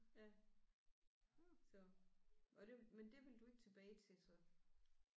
Ja så var det men det vil du ikke tilbage til så?